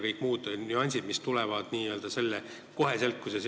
Lisaks tulevad kohe ka kõik muud nüansid.